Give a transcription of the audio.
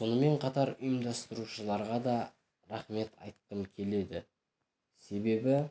сонымен қатар ұйымдастырушыларға да рақмет айтқым келеді себебі